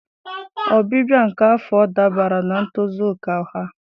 Ọbịbịa nke afọ ọ dabere na ntozu oke ọha?